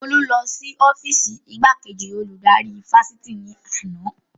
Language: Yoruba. Olú lọ sí ọ́fììsì igbákejì olùdarí ifásitì ní àná